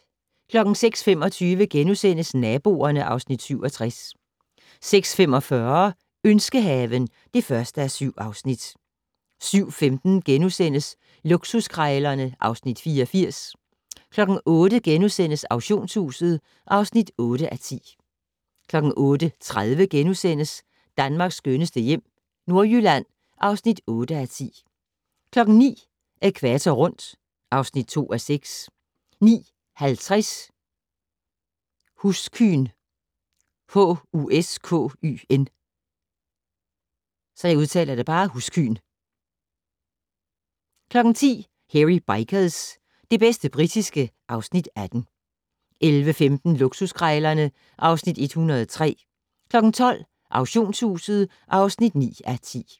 06:25: Naboerne (Afs. 67)* 06:45: Ønskehaven (1:7) 07:15: Luksuskrejlerne (Afs. 84)* 08:00: Auktionshuset (8:10)* 08:30: Danmarks skønneste hjem - Nordjylland (8:10)* 09:00: Ækvator rundt (2:6) 09:50: Huskyn 10:00: Hairy Bikers - det bedste britiske (Afs. 18) 11:15: Luksuskrejlerne (Afs. 103) 12:00: Auktionshuset (9:10)